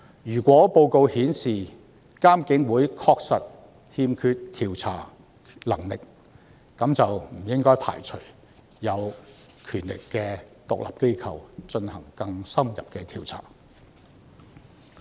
如果報告顯示監警會確實欠缺調查能力，那便不應該排除由具權力的獨立機構進行更深入調查的可能性。